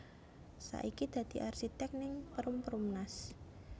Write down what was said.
Saiki dadi arsitek ning Perum Perumnas